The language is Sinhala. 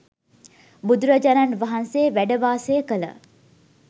බුදුරජාණන් වහන්සේ වැඩ වාසය කළ